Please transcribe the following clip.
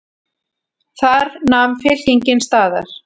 Þar nam fylkingin staðar.